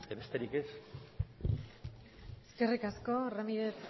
besterik ez eskerrik asko ramírez